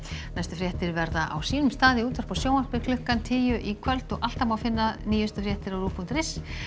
næstu fréttir verða á sínum stað í útvarpi og sjónvarpi klukkan tíu í kvöld og alltaf má finna nýjustu fréttir á rúv punktur is